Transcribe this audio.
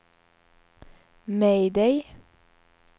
mayday